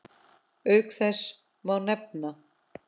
Auk þess má nefna